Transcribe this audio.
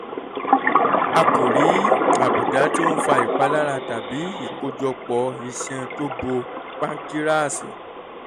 a kò rí àbùdá tó ń fa ìpalára tàbí ìkójọpọ̀ iṣan tó bo pánkíráàsì